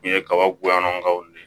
U ye kaba goyangaw de